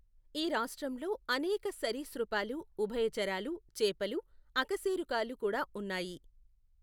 ఈ రాష్ట్రంలో అనేక సరీసృపాలు, ఉభయచరాలు, చేపలు, అకశేరుకాలు కూడా ఉన్నాయి.